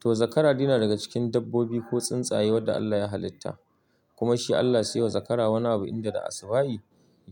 To, zakara dai na daga cikin dabbobi ko tsuntsaye wadda Allah ya halitta kuma shi Allah sai ya wa zakara wani abu inda da asubahi